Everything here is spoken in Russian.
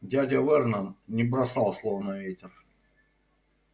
дядя вернон не бросал слов на ветер